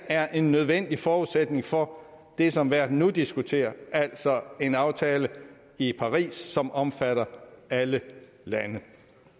er en nødvendig forudsætning for det som verden nu diskuterer altså en aftale i paris som omfatter alle lande